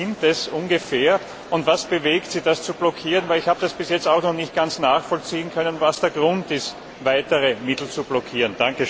Wie viele sind es ungefähr, und was bewegt sie, das zu blockieren? Ich habe das bis jetzt auch noch nicht ganz nachvollziehen können, was der Grund ist, weitere Mittel zu blockieren.